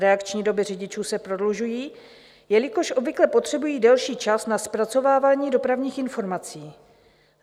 Reakční doby řidičů se prodlužují, jelikož obvykle potřebují delší čas na zpracovávání dopravních informací.